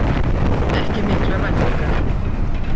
Ekki miklar væntingar